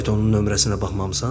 Sən də faytonun nömrəsinə baxmamısan?